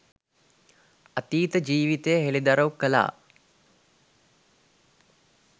අතීත ජීවිතය හෙළිදරව් කළා.